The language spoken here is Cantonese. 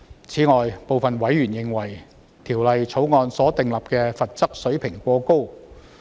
此外，部分委員認為，《條例草案》所訂立的罰則水平過高。